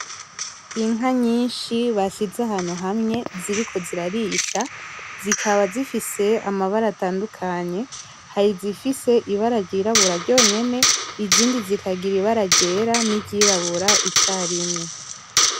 Inka nyinshi bashize ahantu hamwe ziriko zirarisha , zikaba zifise amabara atandukanye, hari izifise ibara ry'irabura ryonyene, izindi zikagira ibara ryera niry'irabura icarimwe.